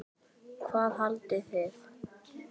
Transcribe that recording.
Hvað haldið þið!